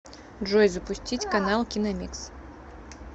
джой запустить канал киномикс